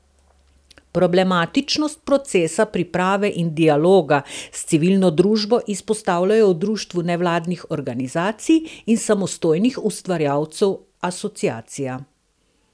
Problematičnost procesa priprave in dialoga s civilno družbo izpostavljajo v društvu nevladnih organizacij in samostojnih ustvarjalcev Asociacija.